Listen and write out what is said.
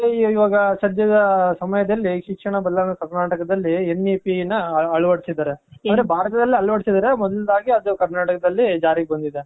ಆದ್ರೆ ಇವಾಗ ಸದ್ಯದ ಸಮಯದಲ್ಲಿ ಶಿಕ್ಷಣ ಬಲ್ಲಣ ಕರ್ನಾಟಕದಲ್ಲಿ N E P ನ ಅಳವಡಿಸಿದಾರೆ. ಅಂದ್ರೆ ಭಾರತದಲ್ಲಿ ಅಳವಡಿಸಿದಾರೆ. ಒಂದೊಂದಾಗಿ ಅದು ಕರ್ನಾಟಕದಲ್ಲಿ ಜಾರಿಗೆ ಬಂದಿದೆ.